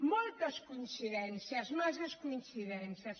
moltes coincidències massa coincidències